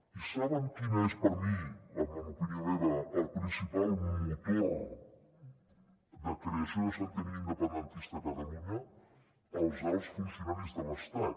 i saben quina és per mi en opinió meva el principal motor de creació de sentiment independentista a catalunya els alts funcionaris de l’estat